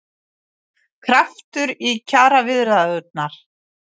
Kraftur í kjaraviðræðurnar